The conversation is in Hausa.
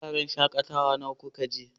Wuraren shakatawa nawa kuka je?